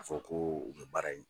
A fɔ ko u bebaara yen